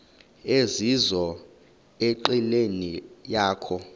ezizizo enqileni yakho